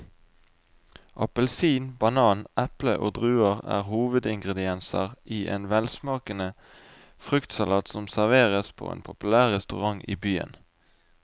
Appelsin, banan, eple og druer er hovedingredienser i en velsmakende fruktsalat som serveres på en populær restaurant i byen.